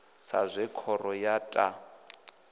sa zwe khoro ya ta